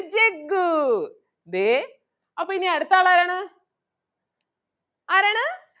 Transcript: ജഗ്ഗു ദേ അപ്പൊ ഇനി അടുത്ത ആളാരാണ്? ആരാണ്?